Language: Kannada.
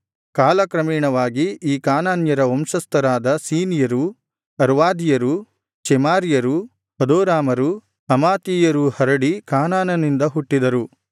ಕಾಲ ಕ್ರಮೇಣವಾಗಿ ಈ ಕಾನಾನ್ಯರ ವಂಶಸ್ಥರಾದ ಸೀನಿಯರು ಅರ್ವಾದಿಯರು ಚೆಮಾರಿಯರು ಹದೋರಾಮರು ಹಮಾತಿಯರು ಹರಡಿ ಕಾನಾನನಿಂದ ಹುಟ್ಟಿದರು